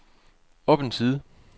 op en side